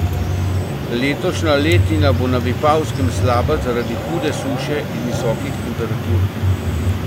Letošnja letina bo na Vipavskem slaba zaradi hude suše in visokih temperatur.